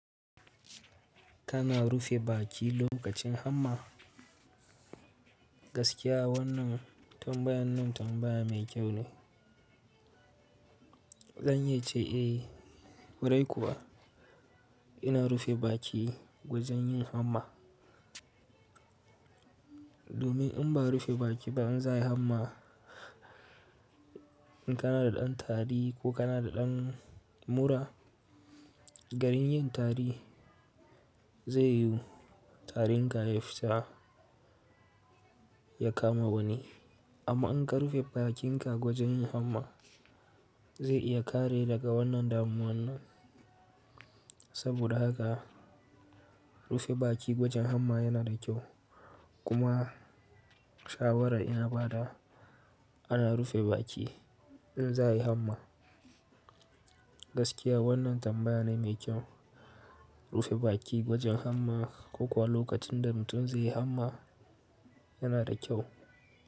Kana rufe baki lokacin hamma, gaskiya wannan tambayan nan tambaya mai kyau ne. Zan iya ce a, kwarai kuwa ina rufe baki wajen yin hamma. Domin in ba rufe baki ba in za yi hamma, in kana da ɗan tari ko kana da ɗan mura, garin yin tari zai yi tarin ka ya fita ya kama wani. Amma in ka rufe bakinka gwajin yin hamma, zai iya kare daga wannan damuwa nan. Saboda haka rufe baki gwajin hamma yana da kyau. Kuma shawara ina ba da ana rufe baki in za a yi hamma. Gaskiya wannan tambaya ne mai kyau. Rufe baki wajen hamma ko kuwa lokacin da mutum zai yi hamma yana da kyau.